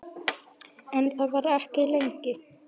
En þar var ekki lengi.